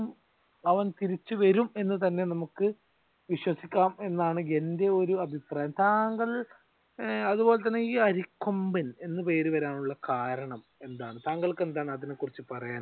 അവൻ തിരിച്ചു വരും എന്ന് തന്നെ നമ്മുക്ക് വിശ്വസിക്കാം എന്നാണ് എന്റെ ഒരു അഭിപ്രായം. താങ്കൾ അതുപോലെ തന്നെ ഈ അരിക്കൊമ്പൻ എന്ന് പേര് വരാനുള്ള കാരണം എന്താണ് താങ്കൾക്ക് എന്താണ് അതിനെ കുറിച്ച് പറയാനുള്ളത്?